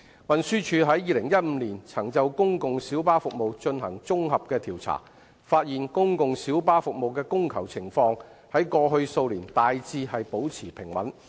運輸署於2015年曾就公共小巴服務進行綜合調查，發現公共小巴服務的供求情況在過去數年大致保持平穩。